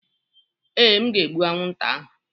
Ee, m ga-egbu anwụnta ahụ.